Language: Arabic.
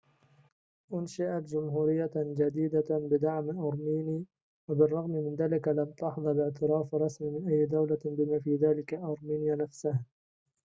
أُنشئت جمهورية جديدة بدعم أرميني وبالرغم من ذلك لم تحظ باعتراف رسمي من أي دولة بما في ذلك أرمينيا نفسها